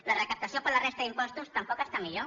la recaptació per la resta d’impostos tampoc està millor